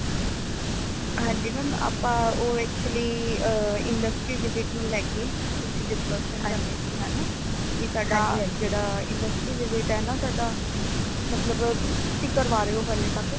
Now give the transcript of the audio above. ਹਾਂਜੀ mam ਆਪਾ ਉਹ actually ਅਹ industry visit ਨੂੰ ਲੈਕੇ ਕੁਛ discussion ਕਰਨੀ ਸੀ ਹੈ ਨਾ ਕਿ ਸਾਡਾ ਜੇੜਾ industry visit ਹੈ ਨਾ ਸਾਡਾ ਮਤਲਬ ਤੁਸੀ ਕਿ ਕਰਵਾ ਰਏ ਹੋ ਹਲੇ ਤਕ